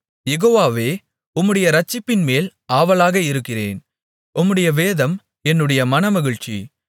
யெகோவாவே உம்முடைய இரட்சிப்பின்மேல் ஆவலாக இருக்கிறேன் உம்முடைய வேதம் என்னுடைய மனமகிழ்ச்சி